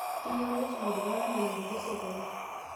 Keyieuni nesuj iltunganak anaanatejo serkali